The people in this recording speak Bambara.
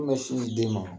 sin di den ma